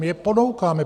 My je ponoukáme.